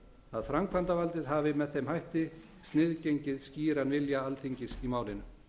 að framkvæmdavaldið hafi sniðgengið skýran vilja alþingis í málinu